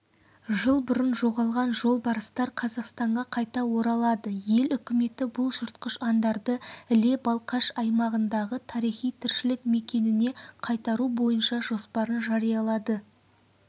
жыл бұрын жоғалған жолбарыстар қазақстанға қайта оралады ел үкіметі бұл жыртқыш аңдарды іле-балқаш аймағындағы тарихи тіршілік мекеніне қайтару бойынша жоспарын жариялады